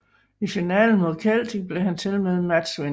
I finalen mod Celtic blev han tilmed matchvinder